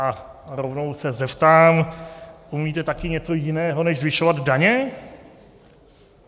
A rovnou se zeptám: Umíte také něco jiného než zvyšovat daně?